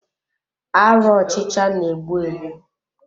Arụ ọchịcha na-egbu egbu.